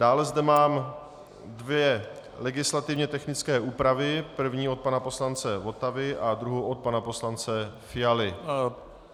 Dále zde mám dvě legislativně technické úpravy, první od pana poslance Votavy a druhou od pana poslance Fialy.